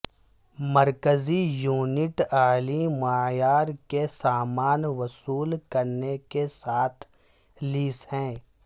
مرکزی یونٹ اعلی معیار کے سامان وصول کرنے کے ساتھ لیس ہے